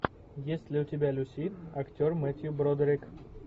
есть ли у тебя люси актер метью бродерик